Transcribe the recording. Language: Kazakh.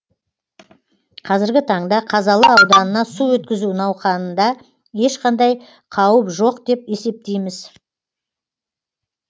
қазіргі таңда қазалы ауданына су өткізу науқанында ешқандай қауіп жоқ деп есептейміз